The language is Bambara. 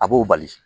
A b'o bali